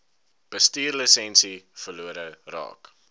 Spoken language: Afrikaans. bestuurslisensie verlore raak